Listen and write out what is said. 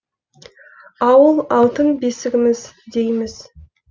ауыл алтын бесігіміз дейміз